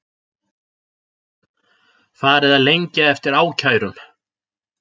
Farið að lengja eftir ákærum